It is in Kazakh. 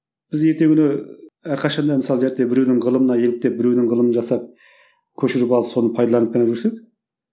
біз ертеңгі күні әрқашан да мысалы біреудің ғылымына еліктеп біреуді ғылымын жасап көшіріп алып соны пайдаланып қана жүрсек